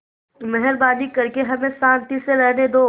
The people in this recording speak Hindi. मेहरबानी करके हमें शान्ति से रहने दो